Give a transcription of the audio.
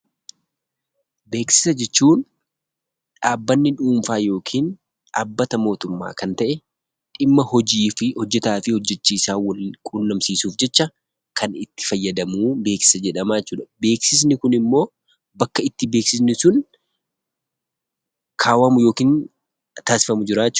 Beeksisaa jechuun; dhaabbanni dhunfa yookiin dhaabbata motummaa Kan ta'e dhimmaa hojiifi hojeetafi hojeechisaa Wal qunnamsisuuf jecha kan itti faayadamnu beeksisa jedhama jechuudha. Beeksisni kun immoo bakka itti beeksisni sun kaawamu yookiin taasifamu jira jechuudha.